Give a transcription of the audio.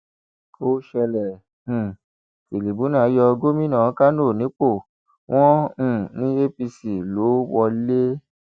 ó ṣẹlẹ um tìrìbùnà yọ gómìnà kánò nípò wọn um ní apc ló wọlé